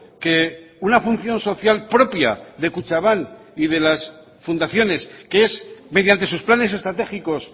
que una función social propia de kutxabank y de las fundaciones que es mediante sus planes estratégicos